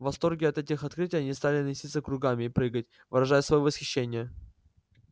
в восторге от этих открытий они стали носиться кругами и прыгать выражая своё восхищение